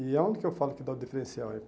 E aonde que eu falo que dá o diferencial é.